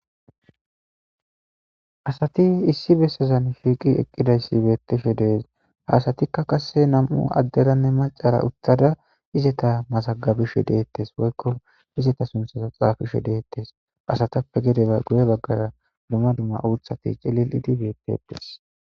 asati issi bessazan shiiqi eqqidayssi beetteshe dees haasatikka qasse nam7u adderanne macara uttada izeta masagabishe deettes woykko izeta sunthaza xaafishe deettes asatappe gedeba guye baggara dumma dumma uuthati celil idi beettetes